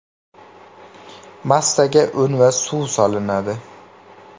Massaga un va suv solinadi.